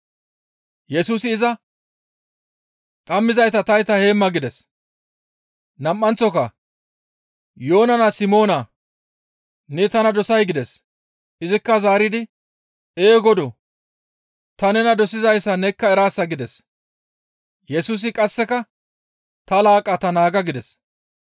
Yesusi iza, «Dhammizayta tayta heemma» gides; nam7anththoka, «Yoona naa Simoonaa! Ne tana dosay?» gides; izikka zaaridi, «Ee Godoo! Ta nena dosizayssa nekka eraasa» gides; Yesusi qasseka, «Ta laaqqata naaga» gides.